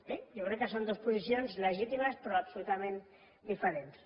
bé jo crec que són dues posicions legítimes però absolutament diferents